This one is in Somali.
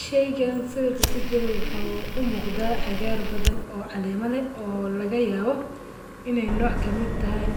Shaygan sawirka kujiro waxa umuqda cagaar badhan oo caleema lee oo lagayabo inay nooc kamid tahay